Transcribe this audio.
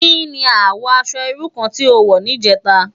Ki ni àwò aṣò irú kàn ti ó wò nijètá?